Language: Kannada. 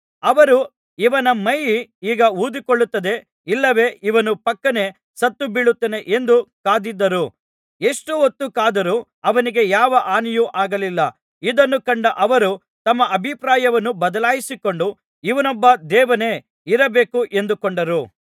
ಅವರು ಇವನ ಮೈ ಈಗ ಊದಿಕೊಳ್ಳುತ್ತದೆ ಇಲ್ಲವೆ ಇವನು ಫಕ್ಕನೆ ಸತ್ತುಬೀಳುತ್ತಾನೆ ಎಂದು ಕಾದಿದ್ದರು ಎಷ್ಟು ಹೊತ್ತು ಕಾದರು ಅವನಿಗೆ ಯಾವ ಹಾನಿಯೂ ಆಗಲಿಲ್ಲ ಇದನ್ನು ಕಂಡ ಅವರು ತಮ್ಮ ಅಭಿಪ್ರಾಯವನ್ನು ಬದಲಿಸಿಕೊಂಡು ಇವನೊಬ್ಬ ದೇವನೇ ಇರಬೇಕು ಎಂದುಕೊಂಡರು